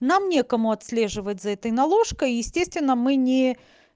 нам некому отслеживать за этой наложкой естественно мы не